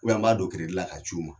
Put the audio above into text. U bɛn an b'a don keredi la ka c'u ma